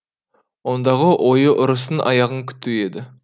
ондағы ойы ұрыстың аяғын күту еді